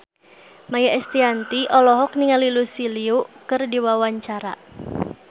Maia Estianty olohok ningali Lucy Liu keur diwawancara